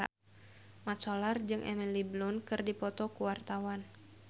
Mat Solar jeung Emily Blunt keur dipoto ku wartawan